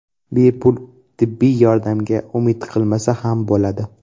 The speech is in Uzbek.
Bepul tibbiy yordamga umid qilmasa ham bo‘ladi.